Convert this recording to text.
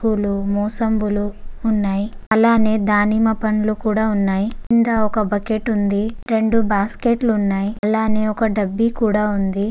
నేను ఇక్కడ చూడగలను ఒక పండ్ల బండి వుంది. బండిపైన చాల ప్రకారమైన పళ్ళు ఉన్నాయ్. అందులో సేపెపండ్లు అరటికాయలు చీకులు మోసంబులు ఉన్నాయ్. అలనే దానిమ్మ పండ్లు కూడా ఉన్నాయ్. కింద ఒక బకెట్ వుంది. రెండు బాస్కెట్లు ఉన్నాయ్. అలనే ఒక డబ్బి కూడా ఉంది.